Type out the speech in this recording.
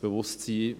bewusst zu sein.